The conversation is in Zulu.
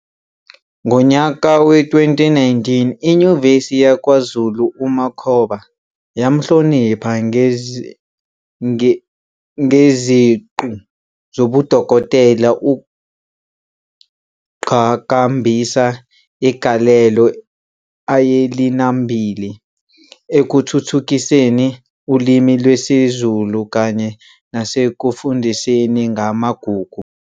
Ngonyaka we-2019 iNyuvesi yakwaZulu UMakhoba yamhlonipha ngeziqu zobudokotela ukugqhakambisa igalelo ayelinambili ekuthuthukiseni uLimi lwesiZulu kanye nasekufundiseni ngamaGugu.